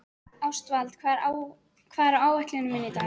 Ástvald, hvað er á áætluninni minni í dag?